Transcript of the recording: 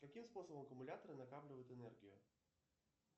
каким способом аккумуляторы накапливают энергию